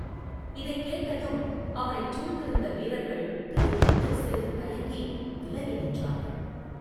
இதைக் கேட்டதும் அவனைச் சூழ்ந்திருந்த வீரர்கள் திடுக்கிட்டு சிறிது தயங்கி விலகி நின்றார்கள்.